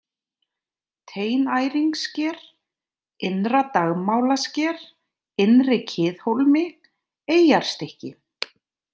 Teinæringssker, Innra-Dagmálasker, Innri-Kiðhólmi, Eyjarstykki